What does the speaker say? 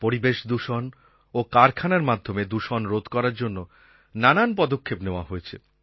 পরিবেশ দূষণ ও কারখানার মাধ্যমে দূষণ রোধ করার জন্য নানান পদক্ষেপ নেওয়া হয়েছে